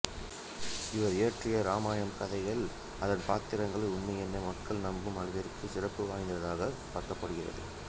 இவர் இயற்றிய இராமாயணம் கதையும் அதன் பாத்திரங்களை உண்மையென மக்கள் நம்பும் அளவிற்கு சிறப்பு வாய்ந்ததாகப் பார்க்கப்படுகிறது